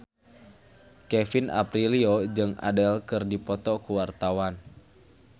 Kevin Aprilio jeung Adele keur dipoto ku wartawan